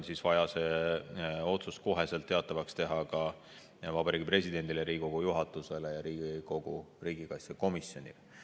Lisaks on vaja see otsus kohe teatavaks teha Vabariigi Presidendile, Riigikogu juhatusele ja Riigikogu riigikaitsekomisjonile.